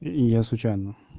я случайно